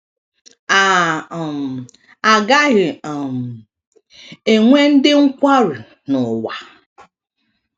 A um gaghị um enwe ndị nkwarụi, n’ụwa.